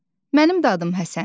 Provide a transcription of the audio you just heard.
Mənim də adım Həsəndir.